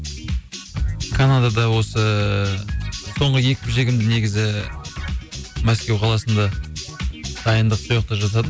канадада осы ыыы соңғы жекпе жегімді негізі мәскеу қаласында дайындық сояқта жасадым